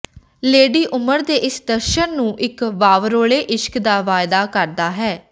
lady ਉਮਰ ਦੇ ਇਸ ਦਰਸ਼ਣ ਨੂੰ ਇੱਕ ਵਾਵਰੋਲੇ ਇਸ਼ਕ ਦਾ ਵਾਅਦਾ ਕਰਦਾ ਹੈ